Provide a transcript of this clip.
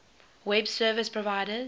web service providers